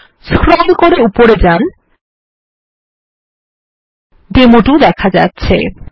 scroll করে উপরে যান ডেমো2 দেখা যাচ্ছে